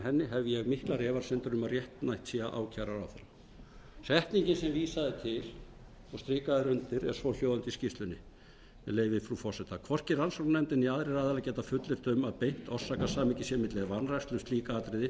henni hef ég miklar efasemdir um að réttmætt sé að ákæra ráðherrana setningin sem vísað er til og strikað er undir er svohljóðandi í skýrslunni með leyfi frú forseta hvorki rannsóknarnefndin né aðrir aðilar geta fullyrt um að beint orsakasamhengi sé milli vanrækslu um slík atriði